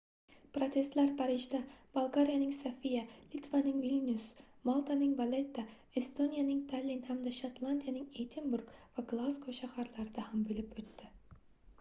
protestlar parijda bolgariyaning sofiya litvaning vilnyus maltaning valetta estoniyaning tallin hamda shotlandiyaning edinburg va glazgo shaharlarida ham boʻlib oʻtdi